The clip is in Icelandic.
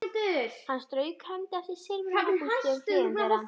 Hann strauk hendi eftir silfruðum og bústnum hliðum þeirra.